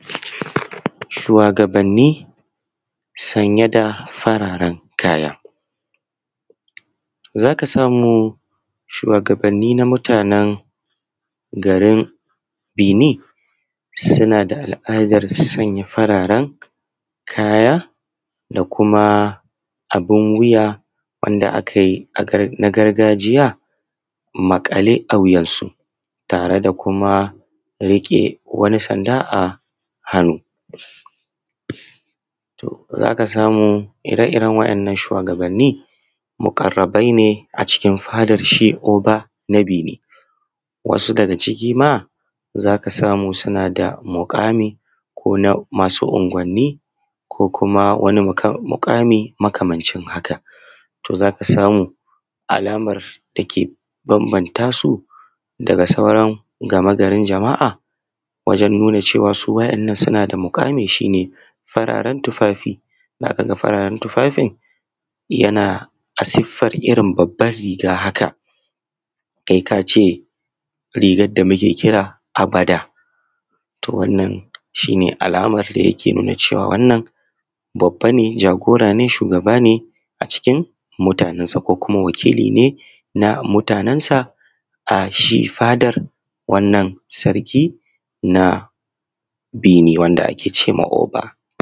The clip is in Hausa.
Shuwagabanni sanye da farare kaya. Za ka samu shuwagabanni na mutanen garin Beni suna da al’adar sanya fararen kaya da kuma abun wuya wanda aka yi na gargajiya maƙale a wuyansu da tare da kuma riƙe wani sanda a hannu. To, za ka samu ire-iren waɗannan shuwagabanni muƙarrabai ne a cikin fadar shi ko Oba na Beni wasu daga ciki ma suna da muƙami ko na masu anguwanni ko kuma wan muƙami makamancin haka. To, za ka samu alamar dake banbanta su daga sauran magagari, garin jama’a wajen nuna cewa waɗannan suna da muƙami shi ne fararen tufafi. Za ka ga fararen tufafin yana a suffarar irin babban riga haka kai ka ce rigar da muke kira abada, to wanna abun da yake nuna cewa wannan babbane jagorane shugabane a cikin mutanen sa ko kuma wakiline na mutanen sa a shi fadar wanna sarki na bini wanda ake cema ƙofa.